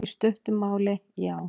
Í stuttu máli, já.